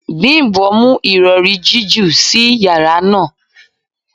Bimbo mu irọri jiju si yara naa